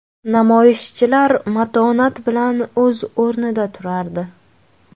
Namoyishchilar matonat bilan o‘z o‘rniida turardi.